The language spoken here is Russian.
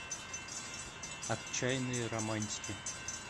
отчаянные романтики